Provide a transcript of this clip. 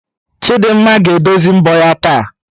Chidimma ga-edozi mbọ ya taa